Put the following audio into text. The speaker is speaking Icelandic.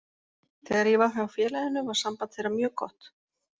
Þegar ég var hjá félaginu var samband þeirra mjög gott.